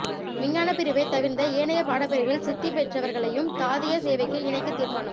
விஞ்ஞான பிரிவை தவிர்ந்த ஏனைய பாடபிரிவில் சித்திபெற்றவர்களையும் தாதியர் சேவைக்கு இணைக்க தீர்மானம்